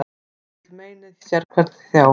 Sitt vill meinið sérhvern þjá.